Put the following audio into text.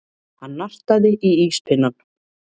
Hann nartaði í íspinnann.